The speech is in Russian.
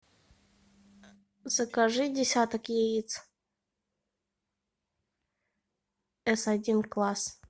закажи десяток яиц эс один класс